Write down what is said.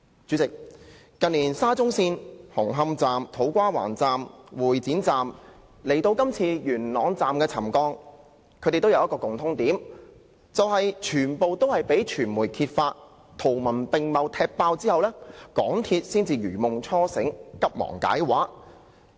主席，近年沙中線紅磡站、土瓜灣站、會展站的事件，以至今次元朗站的沉降事件，均有一個共通點，就是全也是由傳媒圖文並茂地"踢爆"後，港鐵公司才如夢初醒，急忙解畫。